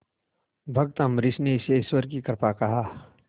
भक्त अम्बरीश ने इसे ईश्वर की कृपा कहा